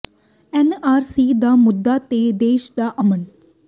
N R C ਦਾ ਮੁੱਦਾ ਤੇ ਦੇਸ਼ ਦਾ ਅਮਨ